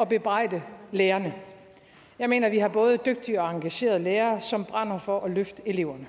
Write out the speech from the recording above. at bebrejde lærerne jeg mener at vi har både dygtige og engagerede lærere som brænder for at løfte eleverne